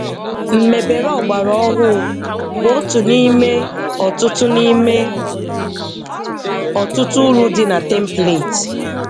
Mmebere ọgbara ọhụụ bụ otu n'ime ọtụtụ n'ime ọtụtụ uru dị na template.